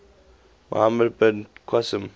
muhammad bin qasim